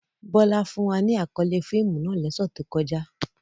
Bola fun wa ni akọle fiimu náà lose to koja.